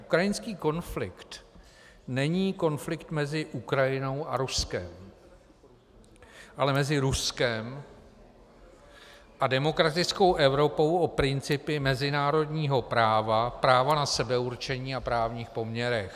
Ukrajinský konflikt není konflikt mezi Ukrajinou a Ruskem, ale mezi Ruskem a demokratickou Evropou o principy mezinárodního práva, právo na sebeurčení a právních poměrech.